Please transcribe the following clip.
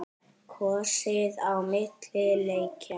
Kosið á milli leikja?